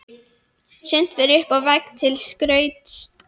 Sumt fer upp á vegg til skrauts.